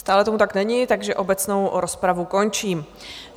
Stále tomu tak není, takže obecnou rozpravu končím.